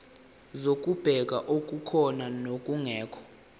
zokubheka okukhona nokungekho